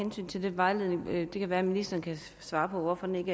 vejledningen men det kan være at ministeren kan svare på hvorfor den ikke